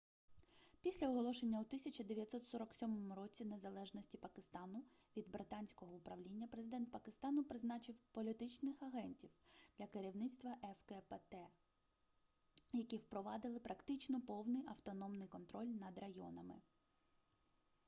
після оголошення у 1947 році незалежності пакистану від британского управління президент пакистану призначив політичних агентів для керівництва фкпт які впровадили практично повний автономний контроль над районами